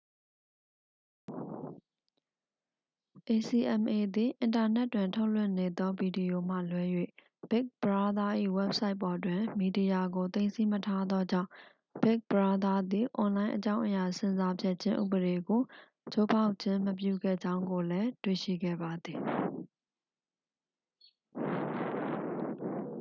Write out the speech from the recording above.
acma သည် အင်တာနက်တွင်ထုတ်လွှင့်နေသောဗီဒီယိုမှလွဲ၍ big brother ၏ဝဘ်ဆိုက်ပေါ်တွင် မီဒီယာကို သိမ်းဆည်းမထားသောကြောင့် big brother သည် အွန်လိုင်းအကြောင်းအရာဆင်ဆာဖြတ်ခြင်းဥပဒေကို ချိုးဖောက်ခြင်းမပြုခဲ့ကြောင်းကိုလည်း တွေ့ရှိခဲ့ပါသည်